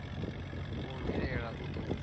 a khou vhilaela u do